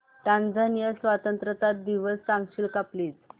Tanzania स्वतंत्रता दिवस सांगशील का प्लीज